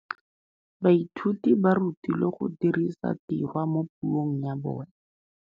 Baithuti ba rutilwe go dirisa tirwa mo puong ya bone.